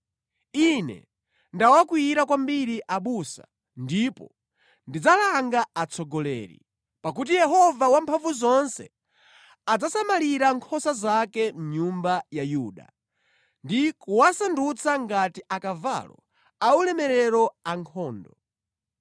“Ine ndawakwiyira kwambiri abusa, ndipo ndidzalanga atsogoleri; pakuti Yehova Wamphamvuzonse adzasamalira nkhosa zake, nyumba ya Yuda, ndi kuwasandutsa ngati akavalo aulemerero ankhondo.